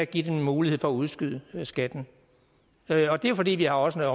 at give den en mulighed for at udskyde skatten og det er jo fordi vi også har